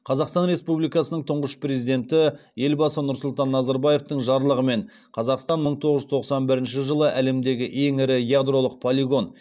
қазақстан республикасының тұңғыш президенті елбасы нұрсұлтан назарбаевтың жарлығымен қазақстан мың тоғыз жүз тоқсан бірінші жылы әлемдегі ең ірі ядролық полигон